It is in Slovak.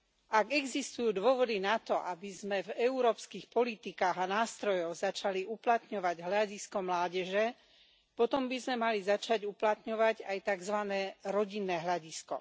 Ak existujú dôvody na to, aby sme v európskych politikách a nástrojoch začali uplatňovať hľadisko mládeže, potom by sme mali začať uplatňovať aj takzvané rodinné hľadisko.